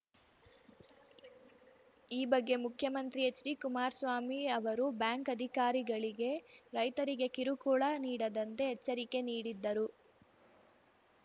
ಈ ಬಗ್ಗೆ ಮುಖ್ಯಮಂತ್ರಿ ಎಚ್‌ಡಿಕುಮಾರಸ್ವಾಮಿ ಅವರೂ ಬ್ಯಾಂಕ್‌ ಅಧಿಕಾರಿಗಳಿಗೆ ರೈತರಿಗೆ ಕಿರುಕುಳ ನೀಡದಂತೆ ಎಚ್ಚರಿಕೆ ನೀಡಿದ್ದರು